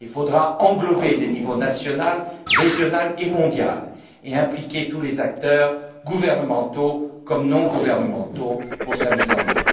Il faudra englober les niveaux national, régional et mondial et associer tous les acteurs gouvernementaux et non gouvernementaux à sa mise en œuvre.